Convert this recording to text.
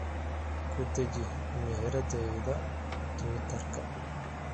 ku dheji meheraddayda twitter-ka